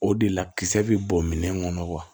O de la kisɛ bɛ bɔ minɛn kɔnɔ wa